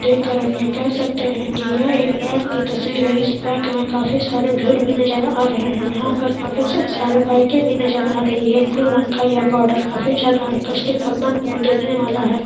देख कर हम ये कह सकते है की यह एक बैंक की तस्वीर है इस बैंक में काफी सारी भीड़ भी नजर आ रहे है यहाँ पर काफी सारे बाइके भी नजर आ रही है ब्लू रंग का ये बॉर्डर काफी ज़्यादा आकर्षित हर मनमोह वाला है।